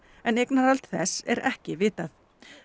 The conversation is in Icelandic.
en eignarhald þess er ekki vitað